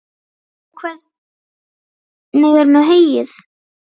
Og hvernig er með heyið?